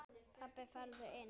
Pabbi farðu inn!